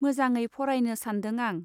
मोजाङै फरायनो सान्दों आं.